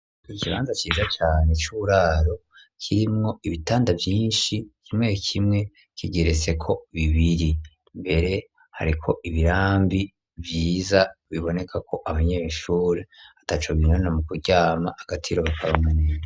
Ikibanza ciza cane c'uburaro kirimwo ibitanda vyinshi, kimwe kimwe kigeretseko bibiri. Mbere hariko ibirambi vyiza, bibonekako abanyeshure ataco binona mu kuryama agatiro bakaronka.